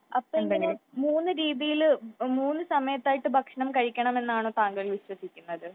അപ്പൊ ഇങ്ങനെ മൂന്ന് രീതിയിൽ മൂന്ന് സമയത്തായിട്ട് ഭക്ഷണം കഴിക്കണമെന്നാണോ താങ്കൾ വിശ്വസിക്കുന്നത് ?